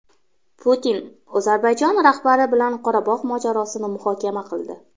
Putin Ozarbayjon rahbari bilan Qorabog‘ mojarosini muhokama qildi.